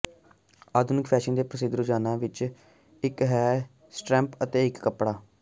ਆਧੁਨਿਕ ਫੈਸ਼ਨ ਦੇ ਪ੍ਰਸਿੱਧ ਰੁਝਾਨਾਂ ਵਿੱਚੋਂ ਇੱਕ ਹੈ ਸਟ੍ਰੈਪ ਤੇ ਇੱਕ ਕੱਪੜਾ